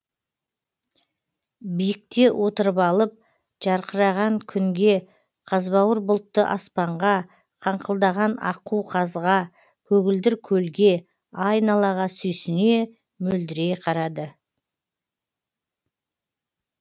биікте отырып алып жарқыраған күнге қазбауыр бұлтты аспанға қаңқылдаған аққу қазға көгілдір көлге айналаға сүйсіне мөлдірей қарады